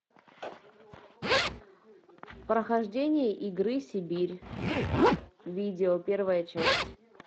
прохождение игры сибирь видео первая часть